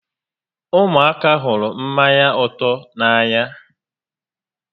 Ụmụaka hụrụ mmanya ụtọ n'anya